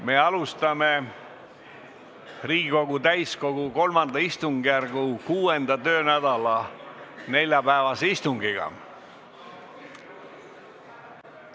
Me alustame Riigikogu täiskogu III istungjärgu 6. töönädala neljapäevast istungit!